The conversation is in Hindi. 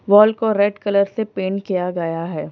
वाल को रेड कलर से पेंट किया गया है।